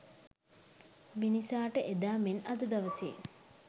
මිනිසාට එදා මෙන් අද දවසේ